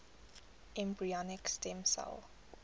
embryonic stem cell